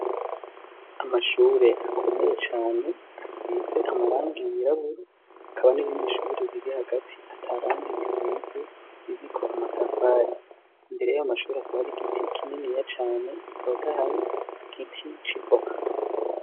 Amashure akomeye cane asize amarangi yirabura hakaba n'irindi shure riri hagati ata rangi irisize ririko amatafari imbere y'aya mashuri hakaba hari igiti kininiya cane gitotahaye igiti c'ivoka.